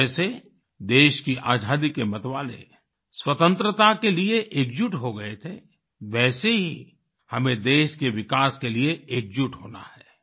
जैसे देश की आजादी के मतवाले स्वतंत्रता के लिए एकजुट हो गए थे वैसे ही हमें देश के विकास के लिए एकजुट होना है